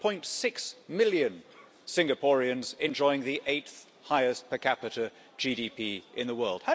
5.6 million Singaporeans enjoying the eighth highest per capita GDP in the world.